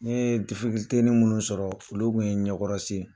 N ye difikuluteni minnu sɔrɔ olu kun ye n ɲɛkɔrɔ sen ye.